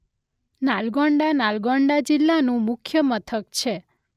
નાલગોંડા નાલગોંડા જિલ્લાનું મુખ્ય મથક છે.